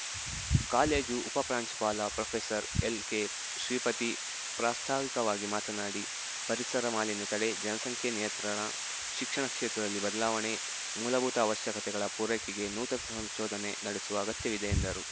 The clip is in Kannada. ಕಾಲೇಜು ಉಪ ಪ್ರಾಂಶುಪಾಲ ಪ್ರೊಫೆಸರ್ಎಲ್‌ಕೆಶ್ರೀಪತಿ ಪ್ರಾಸ್ತಾವಿಕವಾಗಿ ಮಾತನಾಡಿ ಪರಿಸರ ಮಾಲಿನ್ಯ ತಡೆ ಜನಸಂಖ್ಯೆ ನಿಯಂತ್ರಣ ಶಿಕ್ಷಣ ಕ್ಷೇತ್ರದಲ್ಲಿ ಬದಲಾವಣೆ ಮೂಲಭೂತ ಅವಶ್ಯಕತೆಗಳ ಪೂರೈಕೆಗೆ ನೂತನ ಸಂಶೋಧನೆ ನಡೆಸುವ ಅಗತ್ಯವಿದೆ ಎಂದರು